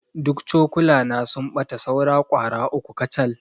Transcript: Duk cokulana sun ɓata saura ƙwara uku kacal.